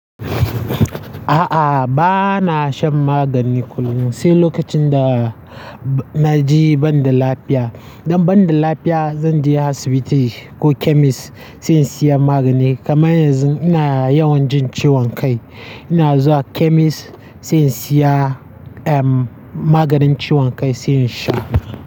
A'a, ba na shan magani kullum, sai lokacin da na ji ban da lafiya. Idan ban da lafiya, zan je asibiti ko chemist sai in siya magani. Kaman yanzu ina yawan jin ciwon kai. Ina zuwa chemist sai in siya, ehm, maganin ciwon kai sai in sha.